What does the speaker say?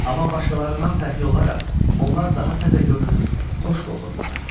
Amma başqalarından fərqli olaraq onlar daha təzə görünür, xoş qoxurdular.